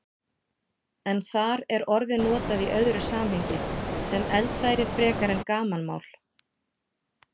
En þar er orðið notað í öðru samhengi, sem eldfæri frekar en gamanmál.